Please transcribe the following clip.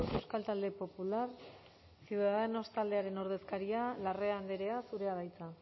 euskal talde popular ciudadanos taldearen ordezkaria larrea andrea zurea da hitza